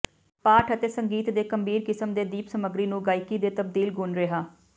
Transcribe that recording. ਪਾਠ ਅਤੇ ਸੰਗੀਤ ਦੇ ਗੰਭੀਰ ਕਿਸਮ ਦੇ ਦੀਪ ਸਮੱਗਰੀ ਨੂੰ ਗਾਇਕੀ ਦੇ ਤਬਦੀਲ ਗੁਣ ਰਿਹਾ